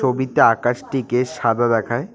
ছবিতে আকাশটিকে সাদা দেখায়।